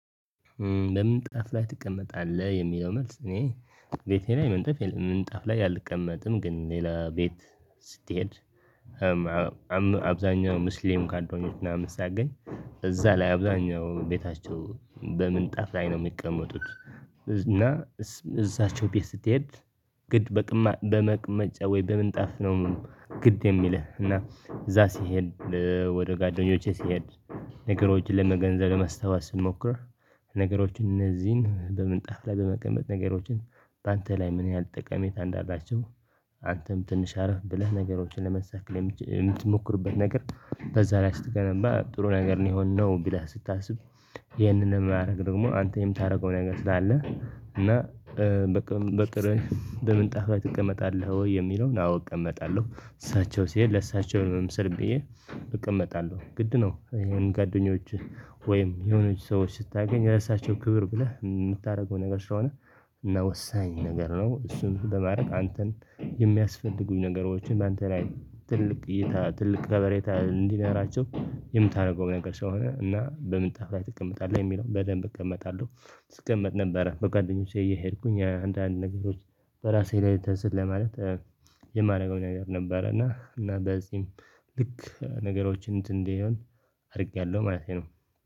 በምንጣፍ ላይ ትቀመጣለህ? የሚለው መልስ፣ እኔ ቤቴ ላይ ምንጣፍ ላይ አልቀመጥም፤ ግን ሌላ ቤት ስትሄድ አብዛኛው ሙስሊም ካልደሆነች ምናምን ሲያገኝ፣ እዛ ላይ አብዛኛው ቤታቸው በምንጣፍ ላይ ነው ሚቀመጡት እና እሳቸው ቤት ስትሄድ ግድ በመቀመጫ ወይ በምንጣፍ ነው ግድ የሚልህ፣ እና እዛ ሲሄድ፣ ወደ ጓደኞቼ ሲሄድ፣ ነገሮችን ለመገንዘብ ለማሠባሰብ ስንሞክር ነገሮች እነዚህን፣ በምንጣፍ ላይ በመቀመጥ ነገሮችን በአንተ ላይ ምን ያህል ጠቃሚታ እንዳላቸው አንተም ትንሽ ዕረፍ ብለህ፣ ነገሮችን ለመርሳት የምትሞክርበት ነገር በዛ ላይ ስትገነባ፣ ጥሩ ነገር ነው የሚሆን ነው ብለህ ስታስብ" ይህንን የማደርገው ደግሞ አንተም የምታደርገው ነገር ስላለ፣ እና በምንጣፍ ጥእቀመጣለሁ ወይ የሚለውን አዎ እቀመጣለሁ እሳቸው ሲሄድ ለእሳቸው መምሰል ብዬ እቀመጣለሁ ግድ ነው ጓደኞችህ ወይም የሆኑ ሰዎችን ስታገኝ፣ ለራሳቸው ክብር ብለህ የምታደርገው ነገር ስለሆነ እና ወሳኝ ነገር ነው፤ እሱን በማድረግ አንተን የሚያስፈልጉህን ነገሮች፣ በአንተ ላይ ትልቅ እይታና ትልቅ ከበሬታ እንዲኖራቸው የምታደርገው ነገር ስለሆነ። እና በምንጣፍ ላይ ትቀመጣለህ? የሚለውን፣ በደንብ እቀመጣለሁ፤ ስቀመጥ ነበረ፣ ወደ ጓደኞቼ እየሄድኩኝ አንዳንድ ነገሮች በራሴ ላይ ተዘርግተህ ለማለት የማደርገው ነገር ነበረ፤ እና በዚህም ልክ ነገሮችን እንትን እንዲህ አድርጌያለሁ ማለት ነው።